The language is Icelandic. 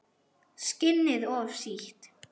Skinnið of sítt.